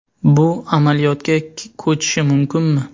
Bu amaliyotga ko‘chishi mumkinmi?